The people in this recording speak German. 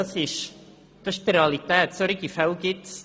diese gibt es in der Realität.